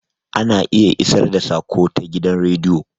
Ana iya isar da saƙo ta gidan radio